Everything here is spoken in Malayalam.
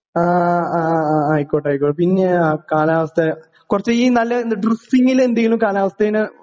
ആ ആ ആയിക്കോട്ടെ ആയ്ക്കോ പിന്നേ ആ കാലാവസ്ഥ കൊറച്ചീ നല്ല എന്താ എന്തെങ്കിലും കാലാവസ്ഥേന്.